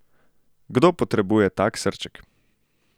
Kdo potrebuje tak srček?